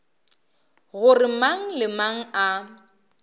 gore mang le mang a